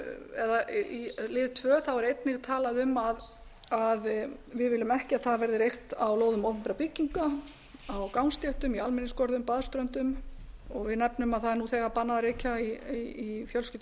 eða í lið tvö er einnig talað um að við viljum ekki að það verði reykt á lóðum opinberra bygginga á gangstéttum í almenningsgörðum baðströndum við nefnum að það er nú þegar bannað að reykja í fjölskyldu og